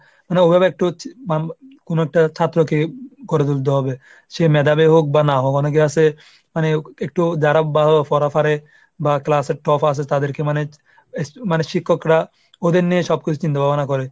মানে ওভাবে কোনো একটা হচ্ছে কোনো একটা ছাত্রকে করে তুলতে হবে। সে মেধাবী হোক বা না হোক অনেকে আছে মানে একটু যারা ভালো পড়া পারে বা class এর top আছে তাদেরকে মানে মানে শিক্ষকরা ওদের নিয়ে সব কিছু চিন্তা ভাবনা করে।